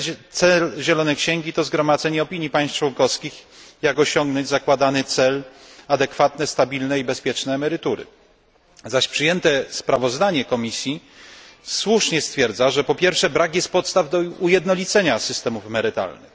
Cel zielonej księgi to zgromadzenie opinii państw członkowskich, jak osiągnąć zakładany cel adekwatne, stabilne i bezpieczne emerytury, zaś przyjęte sprawozdanie Komisji słusznie stwierdza, że po pierwsze, brak jest podstaw do ujednolicenia systemów emerytalnych.